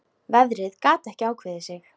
Veðrið gat ekki ákveðið sig.